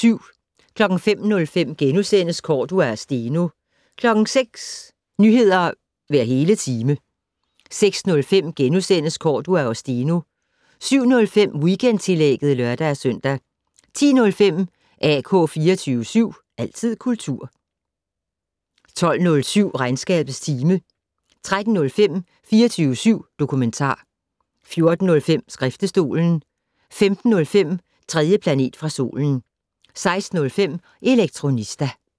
05:05: Cordua og Steno * 06:00: Nyheder hver hele time 06:05: Cordua og Steno * 07:05: Weekendtillægget (lør-søn) 10:05: AK 24syv. Altid kultur 12:07: Regnskabets time 13:05: 24syv dokumentar 14:05: Skriftestolen 15:05: 3. planet fra solen 16:05: Elektronista